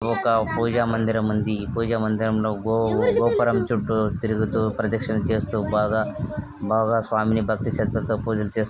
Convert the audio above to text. ఒక పూజ మందిరం ఉంది పూజ మందిరంలో గో-గోపురం చుట్టూ తిరుగుతూ ప్రదక్షిణ చేస్తూ బాగా బాగా స్వామిని భక్తిశ్రద్ధలతో పూజలు చేస్తూ --